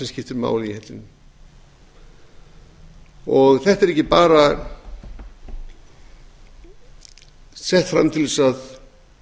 skiptir máli í hellinum þetta er ekki bara sett fram til að